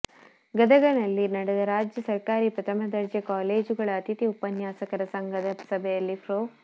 ಗದಗನಲ್ಲಿ ನಡೆದ ರಾಜ್ಯ ಸರಕಾರಿ ಪ್ರಥಮ ದರ್ಜೆ ಕಾಲೇಜುಗಳ ಅತಿಥಿ ಉಪನ್ಯಾಸಕರ ಸಂಘದ ಸಭೆಯಲ್ಲಿ ಪ್ರೊ